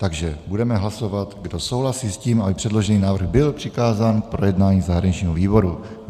Takže budeme hlasovat, kdo souhlasí s tím, aby předložený návrh byl přikázán k projednání zahraničnímu výboru.